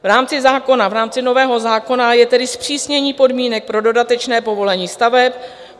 V rámci zákona, v rámci nového zákona, je tedy zpřísnění podmínek pro dodatečné povolení staveb.